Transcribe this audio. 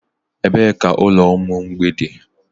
Ebee ka ụlọ ụmụ mgbei dị?